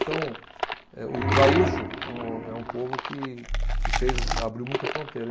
Então, eh, o o gaúcho é um, é um povo que, que fez as, abriu muita fronteira.